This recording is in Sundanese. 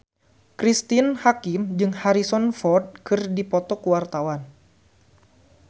Cristine Hakim jeung Harrison Ford keur dipoto ku wartawan